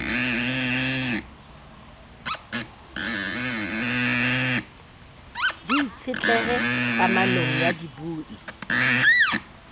di itshetlehe kamanong ya dibui